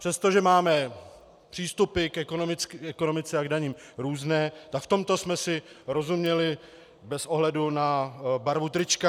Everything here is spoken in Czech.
Přestože máme přístupy k ekonomice a k daním různé, tak v tomto jsme si rozuměli bez ohledu na barvu trička.